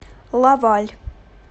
лаваль